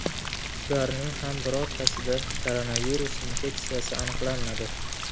Ularning ham birortasida koronavirus infeksiyasi aniqlanmadi.